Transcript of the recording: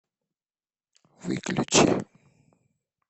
выключи